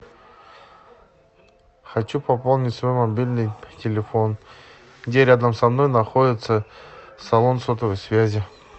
хочу пополнить свой мобильный телефон где рядом со мной находится салон сотовой связи